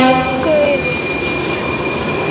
Elsku Eyrún.